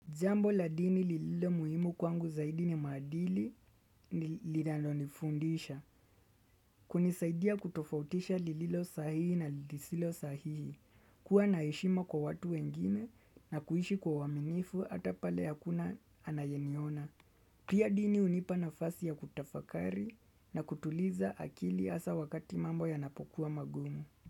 Jambo la dini lililo muhimu kwangu zaidi ni maadili lilano nifundisha. Kunisaidia kutofautisha lililo sahihi na lisilo sahihi. Kuwa na heshima kwa watu wengine na kuishi kwa waminifu ata pale hakuna anayeniona. Pia dini hunipa nafasi ya kutafakari na kutuliza akili hasa wakati mambo yanapokuwa magumu.